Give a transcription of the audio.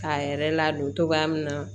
K'a yɛrɛ ladon cogoya min na